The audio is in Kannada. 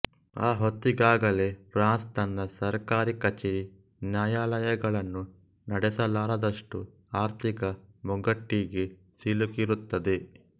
ಆ ಹೊತ್ತಿಗಾಗಲೇ ಫ್ರಾನ್ಸ್ ತನ್ನ ಸರ್ಕಾರಿ ಕಚೇರಿ ನ್ಯಾಯಾಲಯಗಳನ್ನೂ ನಡೆಸಲಾರದಷ್ಟು ಆರ್ಥಿಕ ಮುಗ್ಗಟ್ಟಿಗೆ ಸಿಲುಕಿರುತ್ತದೆ